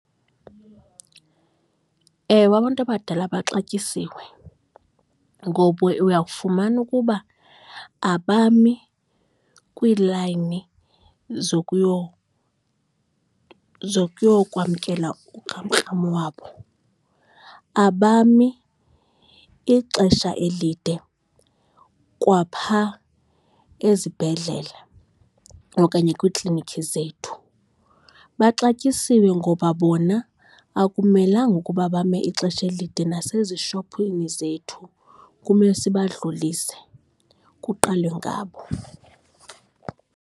Ewe, abantu abadala baxatyisiwe ngoba uya kufumana ukuba abami kwiilayini zokuyokwamkela ukramkram wabo. Abami ixesha elide kwaphaa ezibhedlele okanye kwiiklinikhi zethu. Baxatyisiwe ngoba bona akumelanga ukuba bame ixesha elide nasezishophini zethu, kumele sibadlulise kuqalwe ngabo.